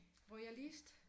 Royalist